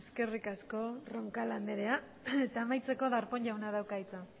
eskerrik asko roncal andrea eta amaitzeko darpon jauna dauka hitza